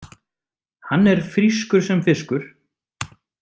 Hann er frískur sem fiskur.